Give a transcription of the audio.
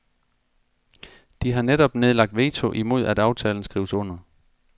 De har netop nedlagt veto imod at aftalen skrives under.